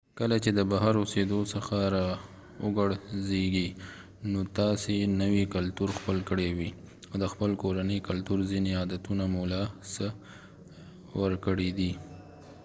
کله چې د بهر اوسیدو څخه راوګرځېږي نو تاسې نوی کلتور خپل کړی وي او د خپل کورني کلتور ځینې عادتونه مو له لاسه ورکړي دي